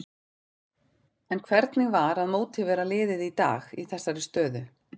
En hvernig var að mótivera liðið í dag í þessari stöðu?